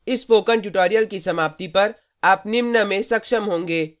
इस spoken tutorial की समाप्ति पर आप निम्न में सक्षम होंगे: